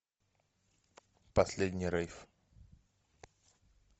последний рейв